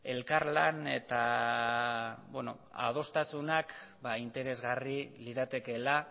elkarlan eta adostasunak interesgarri liratekeela